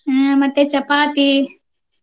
ಹ್ಮ ಮತ್ತೆ ಚಪಾತಿ.